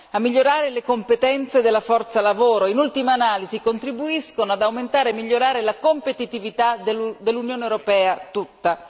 a migliorare le competenze della forza lavoro in ultima analisi contribuiscono ad aumentare e migliorare la competitività dell'Unione europea tutta.